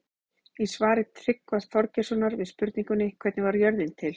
Í svari Tryggva Þorgeirssonar við spurningunni Hvernig varð jörðin til?